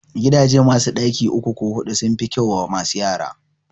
Gidaje masu ɗaki uku ko huɗu sun fi kyau wa masu yara